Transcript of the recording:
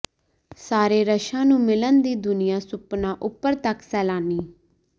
ਸਾਰੇ ਰਸ਼ਾ ਨੂੰ ਮਿਲਣ ਦੀ ਦੁਨੀਆ ਸੁਪਨਾ ਉਪਰ ਤੱਕ ਸੈਲਾਨੀ